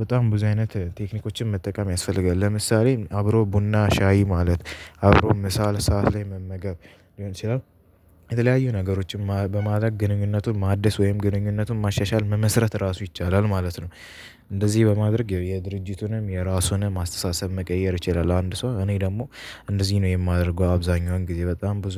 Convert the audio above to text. በጣም ብዙ አይነት ቴክኒኮችን መጠቀም ያስፈልጋል ለምሳሌ አብሮ ቡና ሻይ ማለት አብሮ ምሳ ሰዓት ላይ መመገብ ሊሆን ይችላል። የተለያዩ ነገሮችን በማድረግ ግንኙነቱን ማደስ ወይም ግንኙነቱን ማሻሻል መመስረት ራሱ ይቻላል ማለት ነው። እንደዚህ በማድረግ የድርጅቱንም የራሱንም አስተሳሰብ መቀየር ይችላል። አንድ ሰው እኔ ደግሞ እንደዚህ ነው የማደርገው አብዛኛውን ጊዜ በጣም ብዙ